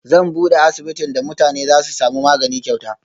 Zan bude asibitin da mutane Zasu samu magani kyauta